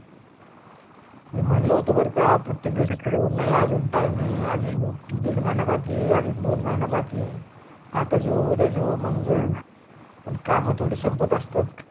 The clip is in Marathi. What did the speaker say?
मी म्हणल होत बर का प्रत्यक गोष्ट खरी नाही अजून time अजून दीड महिना बाकी आहे अजून दोन महिना बाकी आहे आता जावू उध्या जावू मंग जावू पण काम थोड संपत असतात